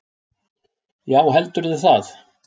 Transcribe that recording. Já heldurðu það?